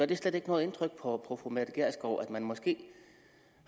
det slet ikke noget indtryk på fru mette gjerskov at man måske